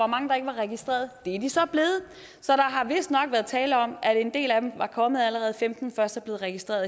mange der ikke var registreret det er de så blevet så der har vistnok været tale om at en del af dem der kom allerede og femten først er blevet registreret